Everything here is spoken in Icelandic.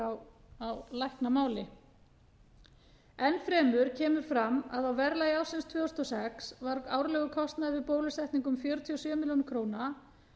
heitir á læknamáli enn fremur kemur fram að á verðlagi ársins tvö þúsund og sex var árlegur kostnaður við bólusetningu um fjörutíu og sjö milljónir króna